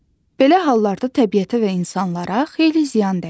Belə hallarda təbiətə və insanlara xeyli ziyan dəyir.